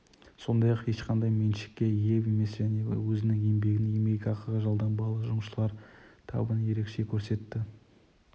сондай-ақ ешқандай меншікке ие емес және өзінің еңбегін еңбекақыға жалданбалы жұмысшылар табын ерекше көрсетті